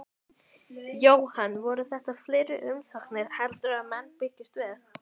Jóhann, voru þetta fleiri umsóknir heldur en menn bjuggust við?